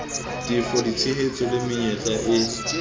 tefo ditshehetso le menyetla e